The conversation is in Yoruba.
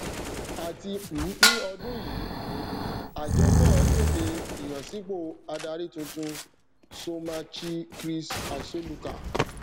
àti um ní ọdún yìí um àjọ náà kéde ìyànsípò adarí tuntun somachichris asoluka